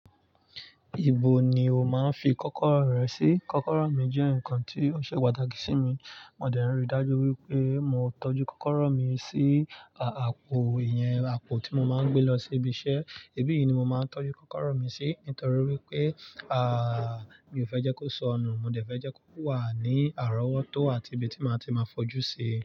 Ibo ni o máa ń fi kọ́kọ́rọ́ rẹ sí? Kọ́kọ́rọ́ mi jẹ́ nǹkan tí ó ṣe pàtàkì sí mi, mo dẹ̀ ń ri dájú wípé mo tọ́jú kọ́kọ́rọ́ mi sí àpò, ìyẹn àpò tí mo máa ń gbé lọ síbi iṣẹ́, èbí yìí ni mo máa ń tọ́jú kọ́kọ́rọ́ mi sí nítorí wípé, àà, mi ò fẹ́ jẹ́ kó sọnù, mo dẹ̀ fẹ́ jẹ́ kó wà ní àrówọ́tó àti ibi tí màá ti máa fojú sí i.